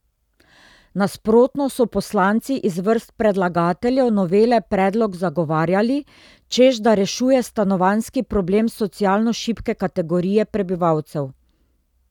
Nasprotno so poslanci iz vrst predlagateljev novele predlog zagovarjali, češ da rešuje stanovanjski problem socialno šibke kategorije prebivalcev.